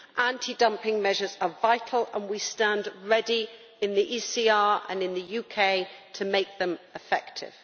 Anti dumping measures are vital, and we stand ready in the ECR and in the UK to make them effective.